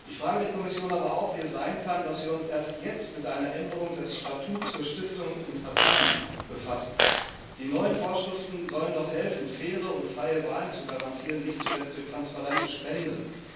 Ich frage die Kommission aber auch, wie es sein kann, dass wir uns erst jetzt mit einer Änderung des Statuts für Stiftungen und Parteien befassen. Die neuen Vorschriften sollen doch helfen, faire und freie Wahlen zu garantieren, nicht zuletzt durch transparente Spenden.